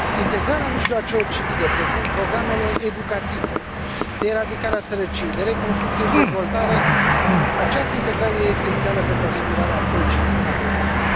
Integrarea mijloacelor civile precum programele educative, de eradicare a sărăciei, de reconstrucție și dezvoltare, această integrare e esențială pentru asigurarea păcii în Afganistan.